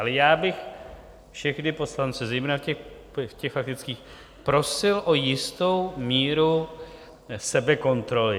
Ale já bych všechny poslance, zejména v těch faktických, prosil o jistou míru sebekontroly.